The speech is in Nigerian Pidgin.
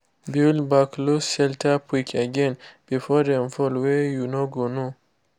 build back loose shelter brick again before dem fall wey you no go know